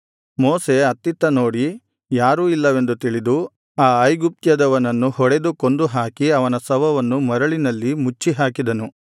ಮೋಶೆ ಅತ್ತಿತ್ತ ನೋಡಿ ಯಾರೂ ಇಲ್ಲವೆಂದು ತಿಳಿದು ಆ ಐಗುಪ್ತ್ಯದವನನ್ನು ಹೊಡೆದು ಕೊಂದುಹಾಕಿ ಅವನ ಶವವನ್ನು ಮರಳಿನಲ್ಲಿ ಮುಚ್ಚಿಹಾಕಿದನು